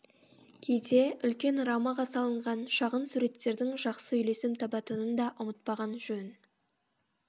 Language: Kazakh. кейде үлкен рамаға салынған шағын суреттердің жақсы үйлесім табатынын да ұмытпаған жөн